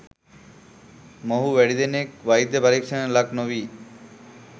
මොවුහු වැඩි දෙනෙක් වෛද්‍ය පරීක්ෂණයකට ලක් නොවී